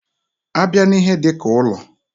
A bịa n'ihe dika ụlọ.